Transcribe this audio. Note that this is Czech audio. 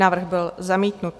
Návrh byl zamítnut.